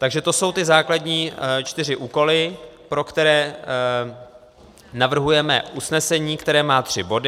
Takže to jsou ty základní čtyři úkoly, pro které navrhujeme usnesení, které má tři body.